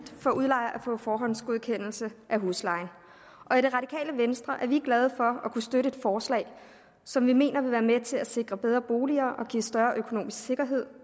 for udlejer at få forhåndsgodkendelse af huslejen i venstre er vi glade for at kunne støtte et forslag som vi mener vil være med til at sikre bedre boliger og give større økonomisk sikkerhed